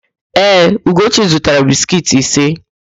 Ee, Ugochi zụtara biskiiti ise.